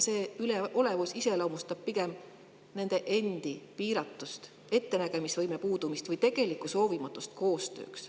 Selline üleolevus iseloomustab pigem nende endi piiratust, ettenägemisvõime puudumist või soovimatust koostööd teha.